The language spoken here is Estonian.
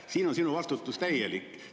Siin on sinu vastutus täielik.